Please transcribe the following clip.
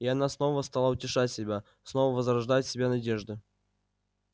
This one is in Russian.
и она снова стала утешать себя снова возрождать в себе надежды